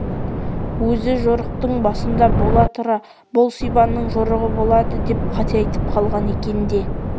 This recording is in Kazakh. өзі жорықтың басында бола тұра бұл сибанның жорығы болады деп қате айтып қалған екен де